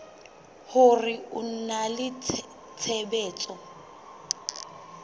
hore ho na le tshebetso